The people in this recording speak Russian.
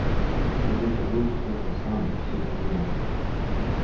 кто-то где-то был кто-то сам всё придумал